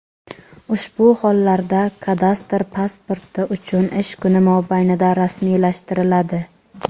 Ushbu hollarda kadastr pasporti uch ish kuni mobaynida rasmiylashtiriladi.